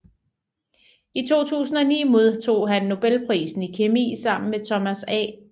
I 2009 modtog han nobelprisen i kemi sammen med Thomas A